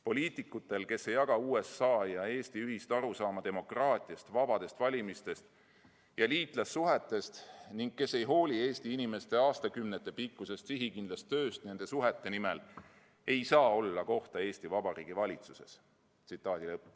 Poliitikutel, kes ei jaga Ameerika Ühendriikide ja Eesti ühist arusaama demokraatiast, vabadest valimistest ja liitlassuhetest ning kes ei hooli Eesti inimeste aastakümnete pikkusest sihikindlast tööst nende suhete nimel, ei saa olla kohta Eesti Vabariigi valitsuses.